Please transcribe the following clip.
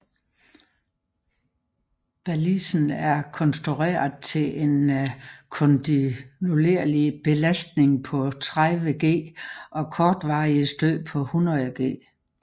Balisen er konstrueret til en kontinuerlig belastning på 30G og kortvarige stød på 100G